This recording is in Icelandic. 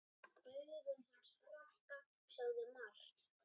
Augun hans Ragga sögðu margt.